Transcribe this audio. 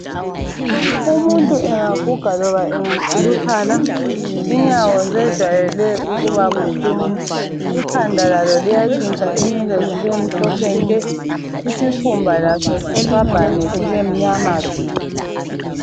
Umuntu engaguga loba engakhuluphala inyawo zijayele ukuba buhlungu, ikhanda lalo liyantshintsha inwele zibe mhlophe nke, isikhumba laso sitshwabhane sibemnyama tshu.